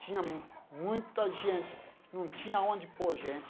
Tinha muita gente, não tinha onde pôr gente.